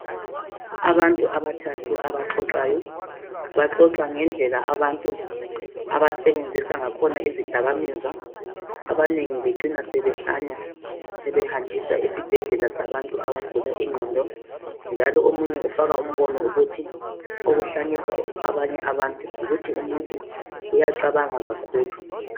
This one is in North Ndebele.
Abantu abathathu abaxoxayo , baxoxa ngendlela abantu abasebenzisa ngakhona izidakamizwa , abanengi bacina sebehlanya sebehanjiswa esibhedlela sabantu abagula ingqondo njalo omunye ufaka imbono wokuthi okuhlanyisa abanye abantu yikuthi umuntu uyacabanga kakhulu